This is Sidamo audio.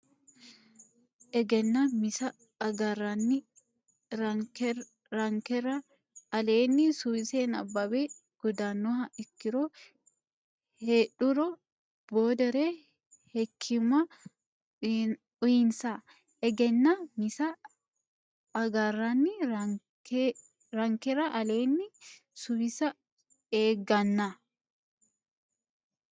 Egennaa misa agarranni rankera aleenni suwisse nabbabbe guddannoha ikkiro heedhuhero boodere hekkiimma uyinsa Egennaa misa agarranni rankera aleenni suwisse Egennaa.